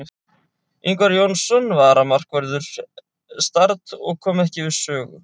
Ingvar Jónsson var varamarkvörður Start og kom ekki við sögu.